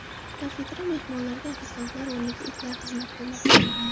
Kafeda mehmonlarga ofitsiantlar o‘rniga itlar xizmat qilmoqda.